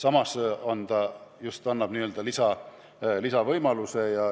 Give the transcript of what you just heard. Aga eelnõu pakub lisavõimaluse.